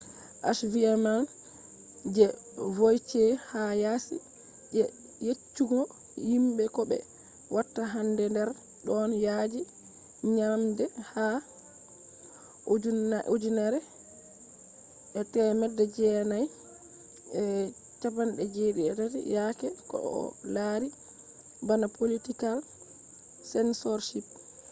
achievements je vautier ha yasi je yeccugo himbe ko be watta hander don yaji nyamde ha 1973 yaake ko o lari bana political censorship